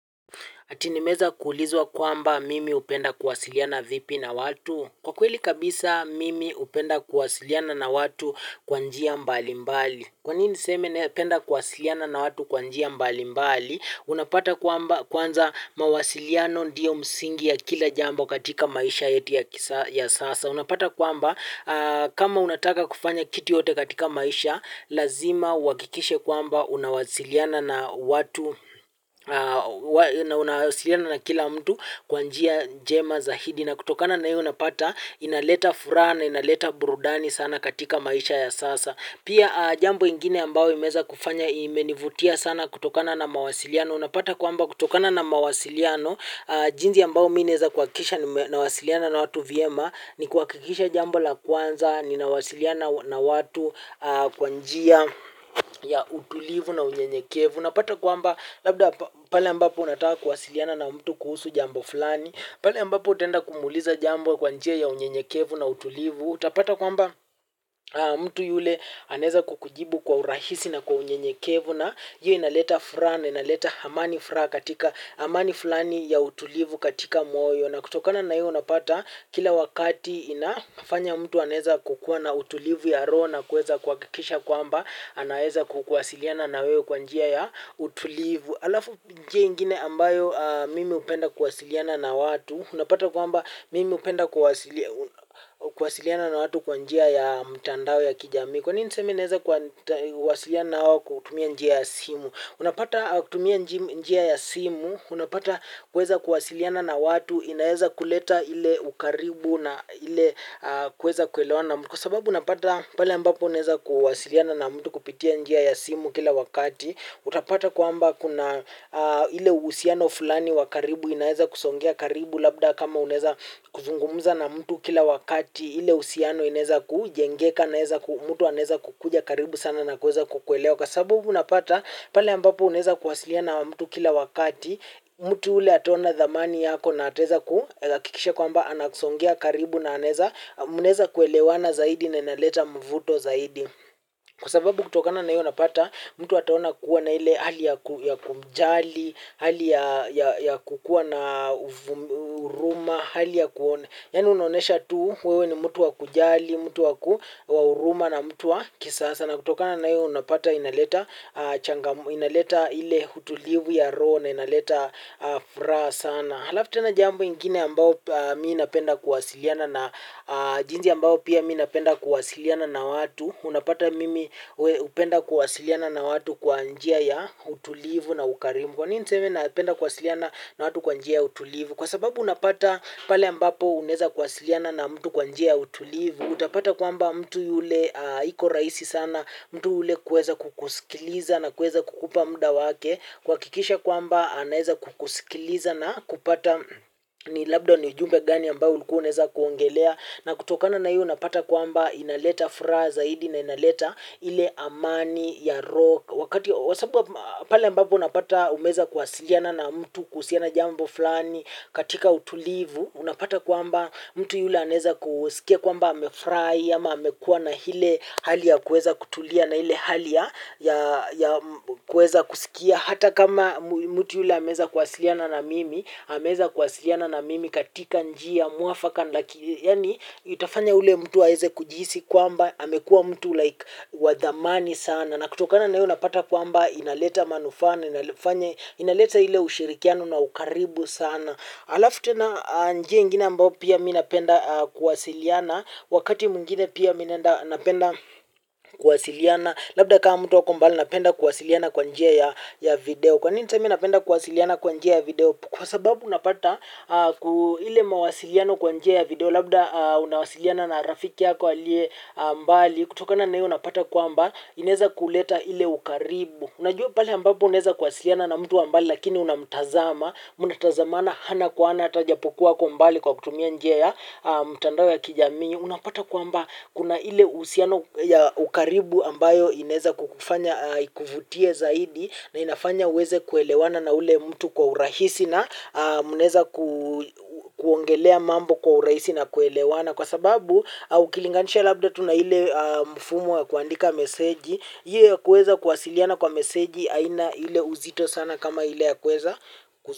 Ati nimeeza kuulizwa kwamba mimi hupenda kuwasiliana vipi na watu? Kwa kweli kabisa mimi hupenda kuwasiliana na watu kwa njia mbali mbali. Kwa nini niseme napenda kuwasiliana na watu kwa njia mbali mbali? Unapata kwamba kwanza mawasiliano ndio msingi ya kila jambo katika maisha yetu ya sasa. Unapata kwamba kama unataka kufanya kitu yoyote katika maisha, lazima uhakikishe kwamba unawasiliana na unawasiliana na kila mtu kwa njia njema zaidi na kutokana na hio unapata inaleta furaha na inaleta burudani sana katika maisha ya sasa pia jambo ingine ambao imeweza kufanya imenivutia sana kutokana na mawasiliano unapata kwamba kutokana na mawasiliano jinsi ambao mimi naeza kuhakikisha nawasiliana na watu vyema ni kuhakikisha jambo la kwanza, ninawasiliana na watu kwa njia ya utulivu na unyenyekevu. Unapata kwamba, labda pale ambapo unataka kuwasiliana na mtu kuhusu jambo fulani. Pale ambapo utaenda kumuuliza jambo kwa njia ya unyenyekevu na utulivu. Utapata kwamba mtu yule anaeza kukujibu kwa urahisi na kwa unyenyekevu. Na hio inaleta furaha na inaleta amani furaha katika amani fulani ya utulivu katika moyo. Na kutokana na hiyo unapata kila wakati inafanya mtu anaeza kukuwa na utulivu ya roho na kuweza kuhakikisha kwamba anaeza kuwasiliana na wewe kwa njia ya utulivu. Alafu njia ingine ambayo mimi hupenda kuwasiliana na watu unapata kwamba mimi hupenda kuwasiliana na watu kwa njia ya mtandao ya kijamii kwa nini niseme naeza kuwasiliana na wao kutumia njia ya simu unapata kutumia njia ya simu, unapata kuweza kuwasiliana na watu, inaeza kuleta ile ukaribu na ile kuweza kuelewana mtu. Kwa sababu unapata pala ambapo uneza kuwasiliana na mtu kupitia njia ya simu kila wakati, utapata kwamba kuna ile uhusiano fulani wa karibu inaeza kusogea karibu labda kama unaeza kuzungumuza na mtu kila wakati, ile uhusiano inaeza kujengeka, naeza mtu anaeza kukuja karibu sana na kuweza kukuelewa. Kwa sababu unapata, pale ambapo unaeza kuwasiliana na mtu kila wakati, mtu ule ataona thamani yako na ataeza kuhakikisha kwamba anasogea karibu na manaeza kuelewana zaidi na inaleta mvuto zaidi kwa sababu kutokana na hiyo unapata, mtu ataona kuwa na ile ya kujali, hali ya kukuwa na huruma, hali ya kuona. Yaani unaonyesha tu wewe ni mtu wa kujali mtu wa huruma na mtu wa kisasa na kutokana na hio unapata inaleta ile utulivu ya roho na inaleta furaha sana halafu tena jambo ingine ambao mimi napenda kuwasiliana na jinsi ambao pia mimi napenda kuwasiliana na watu. Unapata mimi hupenda kuwasiliana na watu kwa njia ya utulivu na ukarimu. Kwa nini niseme napenda kuwasiliana na watu kwa njia ya utulivu. Kwa sababu unapata pale ambapo unaeza kuwasiliana na mtu kwa njia ya utulivu utapata kwamba mtu yule iko rahisi sana mtu yule kuweza kukusikiliza na kuweza kukupa muda wake kuhakikisha kwamba anaeza kukusikiliza na kupata ni labda ni jumbe gani ambao ulikuwa unaeza kuongelea na kutokana na hiyo unapata kwamba inaleta furaha zaidi na inaleta ile amani ya roho wakati pale ambapo unapata umeweza kuwasiliana na mtu kuhusiana jambo fulani katika utulivu, unapata kwamba mtu yule anaeza kusikia kwamba amefurahi ama amekuwa na ile hali ya kuweza kutulia na ile hali ya kueza kusikia hata kama mtu yule ameweza kuwasiliana na mimi, ameweza kuwasiliana na mimi katika njia mwafaka yaani itafanya yule mtu aeze kujihisi kwamba amekuwa mtu like wa thamani sana na kutokana na hio unapata kwamba inaleta manufa na inafanya, inaleta ile ushirikiano na ukaribu sana. Alafu tena njia ingine ambayo pia mimi napenda kuwasiliana wakati mwingine pia mi napenda kuwasiliana labda kama mtu ako mbali napenda kuwasiliana kwa njia ya video. Kwanini niseme napenda kuwasiliana kwaa njia ya video kwa sababu unapata ile mawasiliano kwa njia ya video labda unawasiliana na rafiki yako aliye mbali kutoka na hiyo unapata kwamba inaeza kuleta ile ukaribu unajua pale ambapo unaeza kuwasiliana na mtu wa mbali lakini unamtazama, mnatazamana ana kwa ana hata ijapokuwa ako mbali kwa kutumia njia ya mitandao ya kijamii. Unapata kwamba kuna ile uhusiano ya ukaribu ambayo inaeza kukufanya ikuvutie zaidi na inafanya uweze kuelewana na ule mtu kwa urahisi na mnaeza ku kuongelea mambo kwa urahisi na kuelewana. Kwa sababu, ukilinganisha labda tu na ile mfumo wa kuandika meseji, hiyo ya kuweza kuwasiliana kwa meseji haina ile uzito sana kama ile ya kuweza.